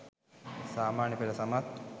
සාමාන්‍යපෙළ සමත්